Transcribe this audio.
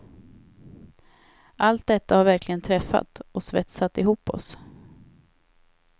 Allt detta har verkligen träffat, och svetsat ihop oss.